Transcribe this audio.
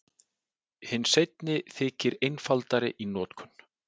Hinn seinni þykir einfaldari í notkun.